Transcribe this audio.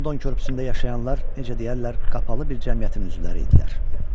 London körpüsündə yaşayanlar necə deyərlər, qapalı bir cəmiyyətin üzvləri idilər.